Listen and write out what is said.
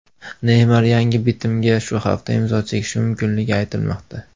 Neymar yangi bitimga shu hafta imzo chekishi mumkinligi aytilmoqda.